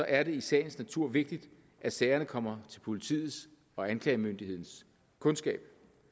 er det i sagens natur vigtigt at sagerne kommer til politiets og anklagemyndighedens kundskab